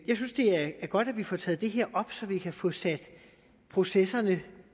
er godt at vi får taget det her op så vi kan få processerne